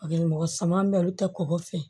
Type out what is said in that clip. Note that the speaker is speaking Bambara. Mɔgɔ saman bɛ yen olu tɛ kɔgɔ fɛ